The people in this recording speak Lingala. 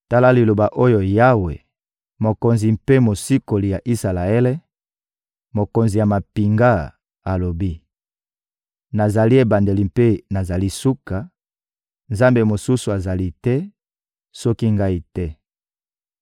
Tala liloba oyo Yawe, Mokonzi mpe Mosikoli ya Isalaele, Mokonzi ya mampinga, alobi: Nazali ebandeli mpe nazali suka; Nzambe mosusu azali te, soki Ngai te.